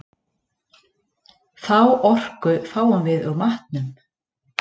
Þá orku fáum við úr matnum.